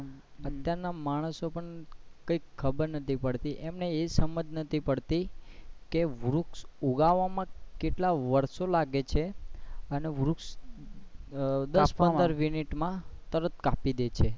અત્યાર ના માણસો પણ કઈ ખબર નથી પડતી કે એમને એ સમજ નથી પડતી કે વૃક્ષ ઉગવા માં કેટલો વર્ષોં લાગે છે અને વૃક્ષ કાપવા માં દસ પંદર minute માં તરત કાપી દે છે.